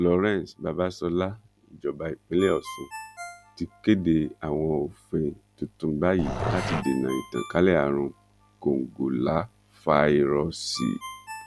florence babasola ìjọba ìpínlẹ ọsún ti kéde àwọn òfin titun báyìí láti dènà ìtànkálẹ àrùn kòǹgóláfàíróòsì